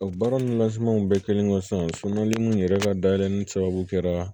O baara nansɔngɔw bɛɛ kɛlen kɔ sisan mun yɛrɛ ka dayɛlɛ ni sababu kɛra